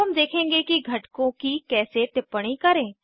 अब हम देखेंगे कि घटकों की कैसे टिप्पणी करें